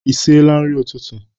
Ị siela nri ụtụtụ?